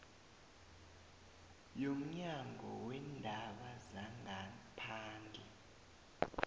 yomnyango weendaba zangaphandle